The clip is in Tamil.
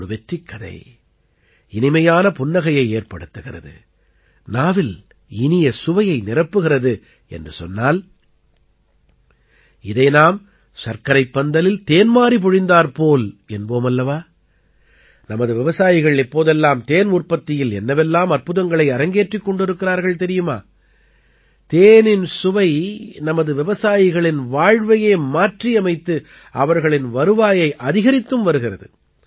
ஒரு வெற்றிக்கதை இனிமையான புன்னகையைத் ஏற்படுத்துகிறது நாவில் இனிய சுவையை நிரப்புகிறது என்று சொன்னால் இதை நாம் சர்க்கரைப் பந்தலில் தேன்மாரி பொழிந்தாற்போல் என்போம் அல்லவா நமது விவசாயிகள் இப்போதெல்லாம் தேன் உற்பத்தியில் என்னவெல்லாம் அற்புதங்களை அரங்கேற்றிக் கொண்டிருக்கிறார்கள் தெரியுமா தேனின் சுவை நமது விவசாயிகளின் வாழ்வையே மாற்றியமைத்து அவர்களின் வருவாயை அதிகரித்தும் வருகிறது